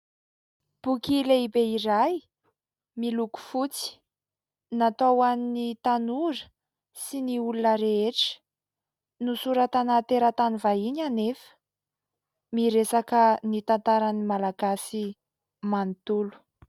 Boky lehibe iray miloko fotsy natao hoan'ny tanora sy ny olona rehetra. Nosoratana teratany vahiny anefa. Miresaka ny tantaran'ny malagasy manontolo.